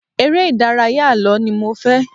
Ère-ìdárayá àlọ́ ni mo fẹ́.